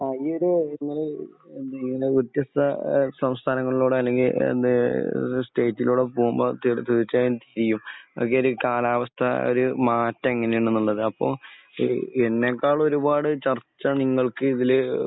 ആ. ഈ ഇടെ ഏഹ് ഇങ്ങനെ വ്യത്യസ്ത സംസ്ഥാനങ്ങളോട് അല്ലെങ്കിൽ ഏഹ് സ്റ്റേറ്റിനോടോ തീർച്ചയായും കാലാവസ്ഥ ഒരു മാറ്റം എങ്ങനെയുണ്ടെന്നുള്ളത്. അപ്പോൾ എന്നെക്കാളും ഒരുപാട് ചർച്ച നിങ്ങൾക്ക് ഇതിൽ